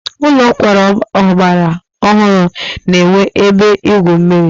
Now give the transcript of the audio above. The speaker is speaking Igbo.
Ụlọ nkwari ọgbara ọhụrụ na-enwe ebe igwu mmiri.